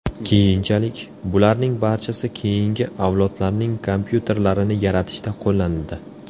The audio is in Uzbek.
Keyinchalik, bularning barchasi keyingi avlodlarning kompyuterlarini yaratishda qo‘llanildi.